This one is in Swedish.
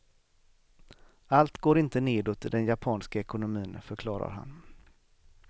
Allt går inte nedåt i den japanska ekonomin, förklarar han.